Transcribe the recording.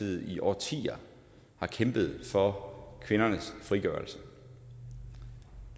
i årtier har kæmpet for kvindernes frigørelse